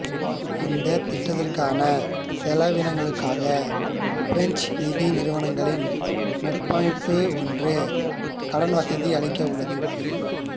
இந்த திட்டற்கான செலவினங்களுக்காக பிரெஞ்சு நிதி நிறுவனங்களின் நட்பமைப்பு ஒன்று கடன்வசதி அளிக்க உள்ளது